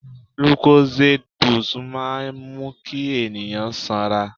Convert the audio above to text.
Lucozade boost máa ń mú kí ènìyàn sanra.